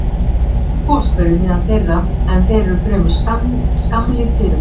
Oft eru goshverir meðal þeirra, en þeir eru fremur skammlíf fyrirbæri.